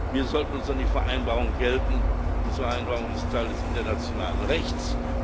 Wir sollten uns an die Vereinbarung halten, diese Vereinbarung ist Teil des internationalen Rechts.